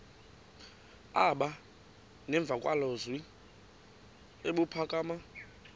aba nemvakalozwi ebuphakama